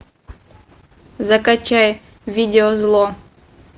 закачай видео зло